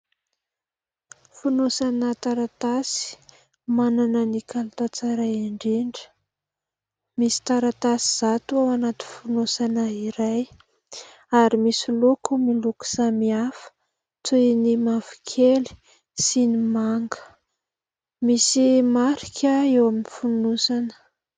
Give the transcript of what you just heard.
Fonosana taratasy manana ny kalitao tsara indrindra. Misy taratasy zato ao anaty fonosana iray ary misy loko miloko samy hafa toy ny mavokely sy ny manga, misy marika eo amin'ny fonosana.